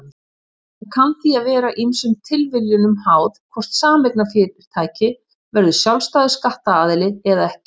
Það kann því að vera ýmsum tilviljunum háð hvort sameignarfyrirtæki verður sjálfstæður skattaðili eða ekki.